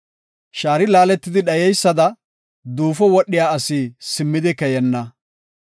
Shaari laaletidi dhayeysada, duufo wodhiya asi simmidi keyenna.